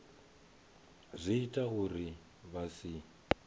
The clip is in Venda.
zwi ita uri vha si